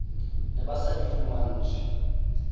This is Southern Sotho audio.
ne ba sa di fumantshwe